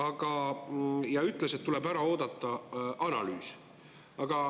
Ja ta ütles, et tuleb ära oodata analüüs.